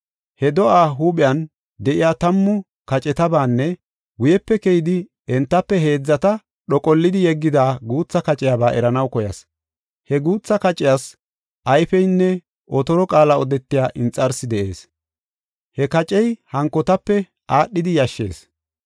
He do7aa huuphen de7iya tammu kacetabaanne guyepe keyidi, entafe heedzata dhoqollidi yeggida guutha kaciyaba eranaw koyas. He guutha qaciyas ayfeynne otoro qaala odetiya inxarsi de7ees. He kacey hankotape aadhidi yashshees.